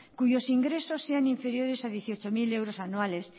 cuyos ingresos sean inferiores a dieciocho mil euros anuales